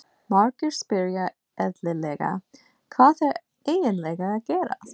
Margir spyrja eðlilega, Hvað er eiginlega að gerast?